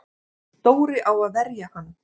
Dóri á að vera hann!